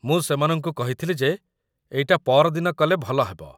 ମୁଁ ସେମାନଙ୍କୁ କହିଥିଲି ଯେ ଏଇଟା ପଅରଦିନ କଲେ ଭଲ ହେବ ।